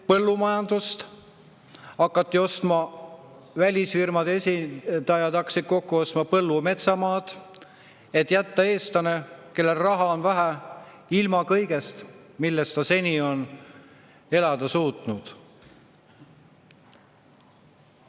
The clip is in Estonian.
Põllumajanduses hakkasid välisfirmade esindajad kokku ostma põllu- ja metsamaad, et jätta eestlane, kellel raha on vähe, ilma kõigest, millest ta seni on elada suutnud.